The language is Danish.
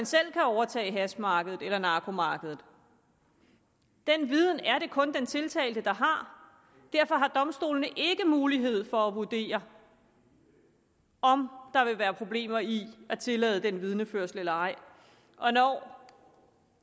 selv kan overtage hashmarkedet eller narkomarkedet den viden er det kun den tiltalte der har og derfor har domstolene ikke mulighed for at vurdere om der vil være problemer i at tillade vidneførslen eller ej og når